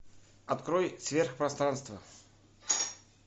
открой сверхпространство